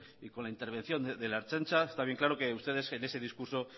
y con la intervención de la ertzaintza está bien claro que ustedes en ese discurso